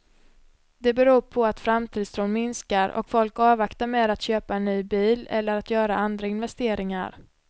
Det beror på att framtidstron minskar och folk avvaktar med att köpa en ny bil eller att göra andra investeringar.